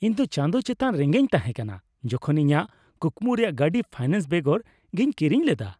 ᱤᱧ ᱫᱚ ᱪᱟᱸᱫᱽ ᱪᱮᱛᱟᱱ ᱨᱮᱜᱮᱧ ᱛᱟᱦᱮᱸ ᱠᱟᱱᱟ ᱡᱚᱠᱷᱚᱱ ᱤᱧᱟᱹᱜ ᱠᱩᱠᱢᱩ ᱨᱮᱭᱟᱜ ᱜᱟᱹᱰᱤ ᱯᱷᱟᱭᱱᱟᱱᱥ ᱵᱮᱜᱚᱨ ᱜᱮᱧ ᱠᱤᱨᱤᱧ ᱞᱮᱫᱟ ᱾